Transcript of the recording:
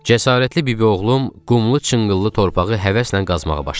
Cəsarətli bibioğlum qumlu, çınqıllı torpağı həvəslə qazmağa başladı.